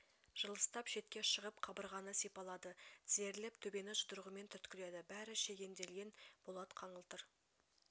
жылыстап шетке шығып қабырғаны сипалады тізерлеп төбені жұдырығымен түрткіледі бәрі шегенделген болат қаңылтыр